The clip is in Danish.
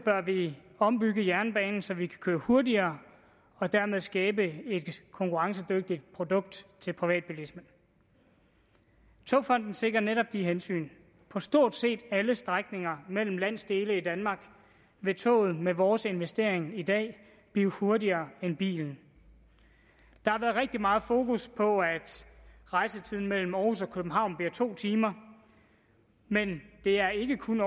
ombygge jernbanen så vi kan køre hurtigere og dermed skabe et konkurrencedygtigt produkt til privatbilismen togfonden dk sikrer netop de hensyn på stort set alle strækninger mellem landsdelene i danmark vil toget med vores investering i dag blive hurtigere end bilen der har været rigtig meget fokus på at rejsetiden mellem århus og københavn bliver to timer men det er ikke kun